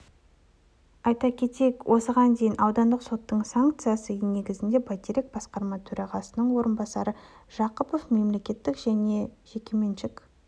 айта кетейік осыған дейін аудандық соттың санкциясы негізінде байтерек басқарма төрағасының орынбасары жақыпов мемлекеттік және жекеменшік